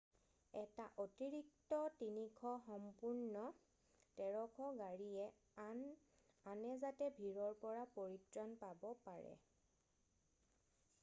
এটা অতিৰিক্ত 300 সম্পূৰ্ণ 1300 গাড়ীয়ে আনে যাতে ভিৰৰ পৰা পৰিত্ৰাণ পাব পাৰে